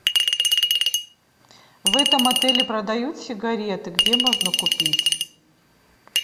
в этом отеле продают сигареты где можно купить